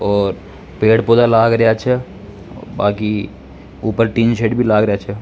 और पेड़ पौधा लाग रा च बाक़ी ऊपर टीनसेट भी लाग रा छ।